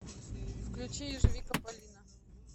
включи ежевика палина